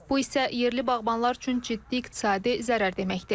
Bu isə yerli bağbanlar üçün ciddi iqtisadi zərər deməkdir.